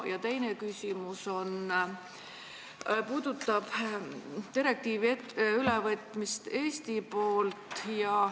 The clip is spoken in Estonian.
Ja teine küsimus puudutab direktiivi ülevõtmist Eesti poolt.